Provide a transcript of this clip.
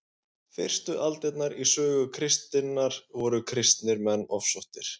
fyrstu aldirnar í sögu kristninnar voru kristnir menn ofsóttir